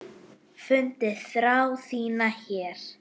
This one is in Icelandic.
Fundið þrá þína hér.